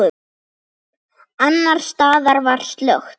Annars staðar var slökkt.